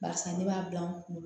Barisa ne b'a bila n kunna